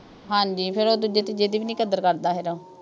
ਹਾਂਜੀ ਫੇਰ ਉਹ ਦੂਜੇ ਤੀਜੇ ਦੀ ਵੀ ਨਹੀਂ ਕਦਰ ਕਰਦਾ ਹੈਗਾ।